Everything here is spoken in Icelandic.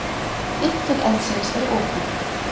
Upptök eldsins eru ókunn.